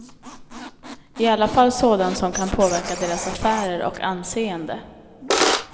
I alla fall sådan som kan påverka deras affärer och anseende.